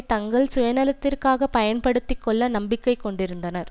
தங்கள் சுயநலத்திற்காக பயன்படுத்தி கொள்ள நம்பிக்கை கொண்டிருந்தனர்